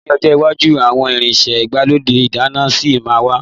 Ní ọjọ́ iwájú àwọn irinṣẹ́ igbalode ìdáná ṣì ma wà.